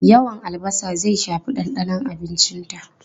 Yawan albasa zai shafi dandanon abincinta.